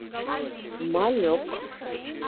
малек